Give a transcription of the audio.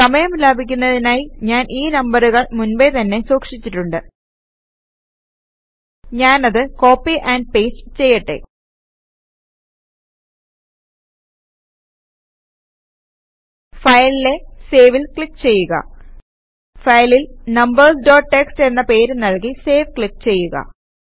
സമയം ലാഭിക്കുന്നതിനായി ഞാൻ ഈ നമ്പറുകൾ മുൻപേ തന്നെ സൂക്ഷിച്ചിട്ടുണ്ട് ഞാനത് കോപ്പി ആൻഡ് പേസ്റ്റ് ചെയ്യട്ടെ Fileലെ Saveൽ ക്ലിക് ചെയ്യുക ഫയലിൽ നമ്പേര്സ് ഡോട്ട് ടിഎക്സ്ടി എന്ന പേര് നൽകി സേവ് ക്ലിക് ചെയ്യുക